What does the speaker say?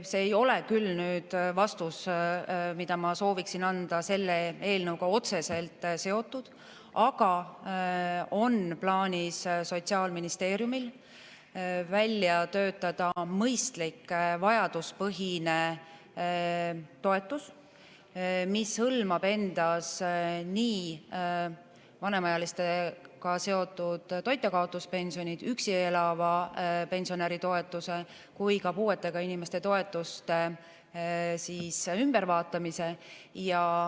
See vastus, mida ma sooviksin anda, ei ole küll selle eelnõuga otseselt seotud, aga Sotsiaalministeeriumil on plaanis välja töötada mõistlik vajaduspõhine toetus, mis hõlmab nii vanemaealistega seotud toitjakaotuspensionit, üksi elava pensionäri toetust kui ka puuetega inimeste toetuste ümbervaatamist.